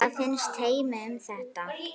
Hvað finnst Heimi um það?